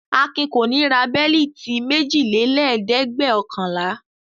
Akin kò ní ra bẹ́lítì méjìlélẹ́ẹ̀dẹ́gbẹ̀ọ̀kànlá.